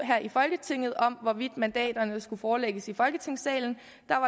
her i folketinget om hvorvidt mandaterne skulle forelægges i folketingssalen